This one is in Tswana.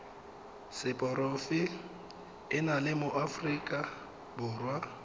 seporofe enale mo aforika borwa